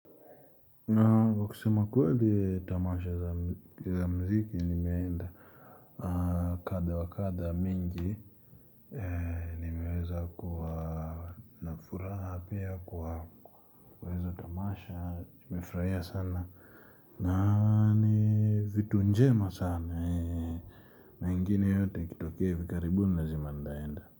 Kwa kusema kweli tamasha za mziki nimeenda kadha wa kadha mingi nimeweza kuwa na furaha pia kwa hizo tamasha tumefurahia sana. Na ni vitu njema sana na ingine yote ikitokea hivi karibuni lazima nitaenda.